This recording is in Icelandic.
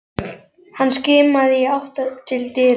Hann skimaði í átt til dyra.